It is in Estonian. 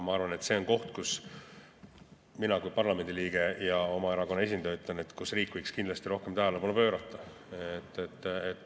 Ma arvan, et see on koht – mina kui parlamendi liige ja oma erakonna esindaja ütlen seda –, millele riik võiks kindlasti rohkem tähelepanu pöörata.